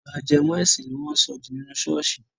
Àlọ́ ajẹmọ́-ẹ̀sìn ni wọ́n ń sọ jù nínú ṣọ́ọ̀ṣì.